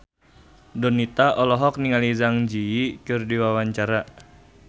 Donita olohok ningali Zang Zi Yi keur diwawancara